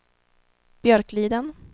Björkliden